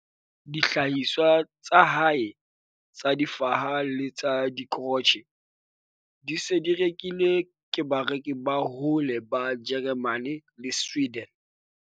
Dihlahiswa tsa hae tsa difaha le tsa dikrotjhe di se di rekilwe ke bareki ba bohole ba Jeremane le Sweden.